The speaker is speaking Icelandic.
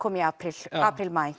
í apríl apríl maí